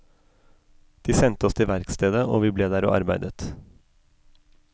De sendte oss til verkstedet, og vi ble der og arbeidet.